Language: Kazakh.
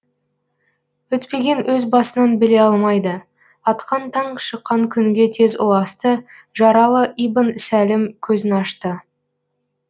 өтпеген өз басынан біле алмайды атқан таң шыққан күнге тез ұласты жаралы ибн сәлім көзін ашты